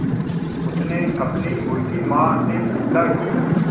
उसने अपनी मुर्गी माँ से पूछा की